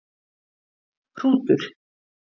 Hrútur